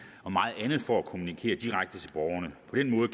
og meget andet for at kommunikere direkte